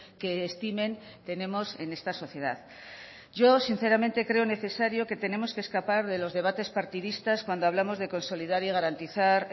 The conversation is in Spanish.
que estimen tenemos en esta sociedad yo sinceramente creo necesario que tenemos que escapar de los debates partidistas cuando hablamos de consolidar y garantizar